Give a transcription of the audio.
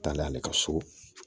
Taale ale ka so